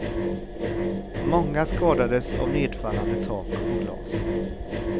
Många skadades av nedfallande tak och glas.